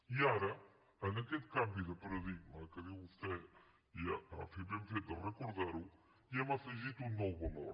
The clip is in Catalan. i ara en aquest canvi de paradigma que diu vostè i ha fet ben fet de recordar ho hi hem afegit un nou valor